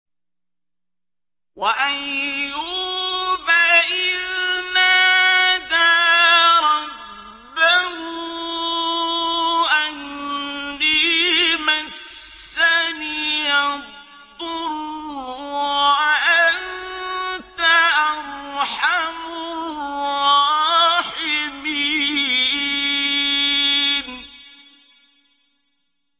۞ وَأَيُّوبَ إِذْ نَادَىٰ رَبَّهُ أَنِّي مَسَّنِيَ الضُّرُّ وَأَنتَ أَرْحَمُ الرَّاحِمِينَ